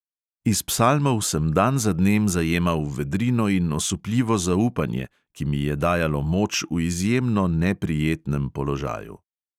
Iz psalmov sem dan za dnem zajemal vedrino in osupljivo zaupanje, ki mi je dajalo moč v izjemno neprijetnem položaju.